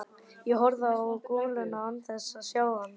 Ég horfi á goluna án þess að sjá hana sjálfa.